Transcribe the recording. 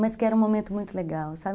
Mas que era um momento muito legal, sabe?